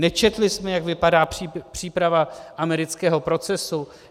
Nečetli jsme, jak vypadá příprava amerického procesu?